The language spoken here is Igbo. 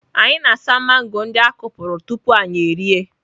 Anyị na-asa mango ndị a kụpụrụ tupu anyị erie.